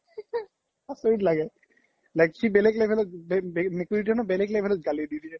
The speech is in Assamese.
আচৰিত লাগে like খি বেলেগ level ত মেকুৰিতোয়ে নহয় বেলেগ level ত গালি দিয়ে